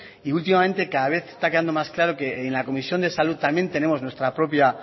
y últimamente cada vez está quedando más claro que en la comisión de salud tenemos nuestra propia